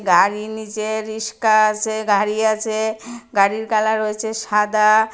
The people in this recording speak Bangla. তারই নীচে রিস্কা আসে গাড়ি আসে গাড়ির কালার হয়ছে সাদা।